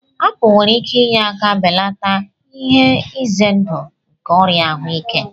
Apul nwere ike inye aka belata ihe ize ndụ nke ọrịa ahụike.